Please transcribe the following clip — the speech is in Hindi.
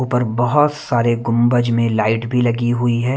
ऊपर बहुत सारे गुंबज में लाइट भी लगी हुई है।